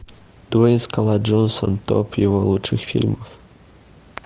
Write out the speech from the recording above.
дуэйн скала джонсон топ его лучших фильмов